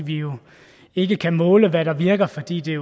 vi jo ikke kan måle hvad der virker fordi det